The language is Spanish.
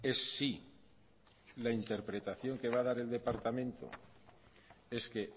es si la interpretación que va a dar el departamento es que